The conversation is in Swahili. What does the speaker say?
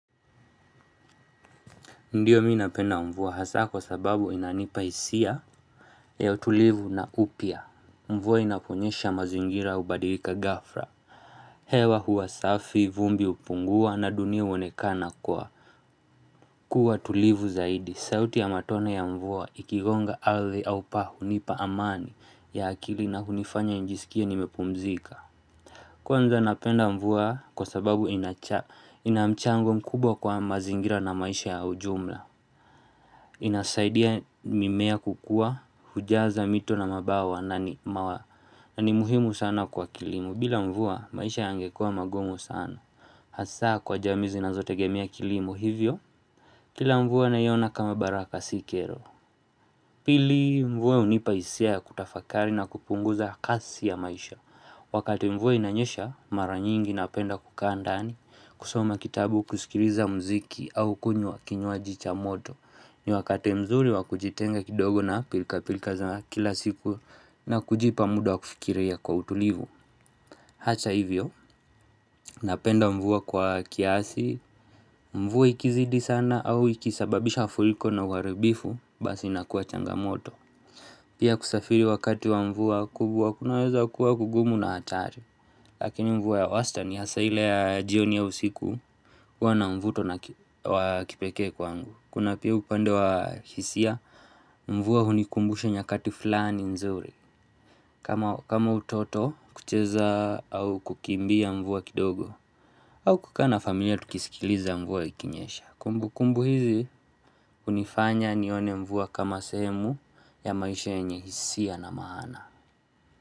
Ndiyo minapenda mvua hasa kwa sababu inanipa isia ya tulivu na upya Mvua inaponyesha mazingira ubadirika gafra hewa huwasafi, vumbi upungua na dunia uonekana kwa Kua tulivu zaidi, sauti ya matone ya mvua ikigonga ardhi au paa unipa amani ya akili na kunifanya njisikie nimepumzika Kwanza napenda mvua kwa sababu inamchango mkubwa kwa mazingira na maisha ya ujumla Inasaidia mimea kukua hujaza mito na mabawa na ni mawa na ni muhimu sana kwa kilimo bila mvua maisha yangekua magumu sana Hasa kwa jamiizi na zotegemea kilimo hivyo Kila mvua nayona kama baraka sikero Pili mvua unipaisia ya kutafakari na kupunguza kasi ya maisha Wakati mvua inanyesha maranyingi napenda kukandaani kusoma kitabu kusikiriza mziki au kunywa kinywa jicha moto ni wakati mzuri wakujitenga kidogo na pilka pilka za kila siku na kujipa muda wakufikiria kwa utulivu Hacha hivyo, napenda mvua kwa kiasi, mvua ikizidi sana au ikisababisha mafuriko na waribifu, basi nakuwa changamoto Pia kusafiri wakati wa mvua kubwa kunaweza kuwa kugumu na hatari Lakini mvua ya westani hasa ile ya jioni au usiku huwa mvuto na kipeke kwangu Kuna pia upande wa hisia, mvua hunikumbusha nyakati fulani nzuri kama utoto kucheza au kukimbia mvuwa kidogo au kukana familia tukisikiliza mvuwa ikinyesha Kumbu kumbu hizi unifanya nione mvuwa kama semu ya maisha yenye hisia na maana.